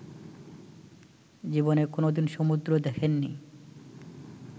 জীবনে কোনদিন সমুদ্র দেখেননি